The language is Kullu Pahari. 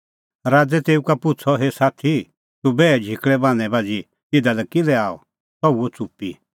राज़ै तेऊ का पुछ़अ हे साथी तूह बैहे झिकल़ै बान्हैं बाझ़ी इधा लै किल्है आअ सह हुअ च़ुप्पी